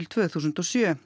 tvö þúsund og sjö